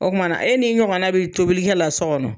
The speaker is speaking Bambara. Ɔ kuma na e ni ɲɔgɔn na be tobilikɛ la so kɔnɔ